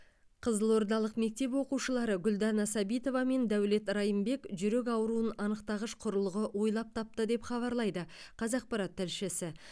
қызылордалық мектеп оқушылары гүлдана сәбитова мен дәулет райымбек жүрек ауруын анықтағыш құрылғы ойлап тапты деп хабарлайды қазақпарат тілшісі